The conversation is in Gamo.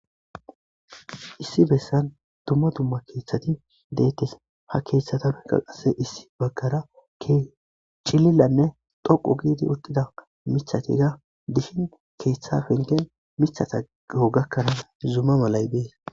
Issi bessan dumma dumma keeththati deettes ha keeththatabe qalqase issi baggara kchilillanne dhoqu giidi uttida mithatiga dihin keeththa fengen mithata go gakkanaa zumma malay bees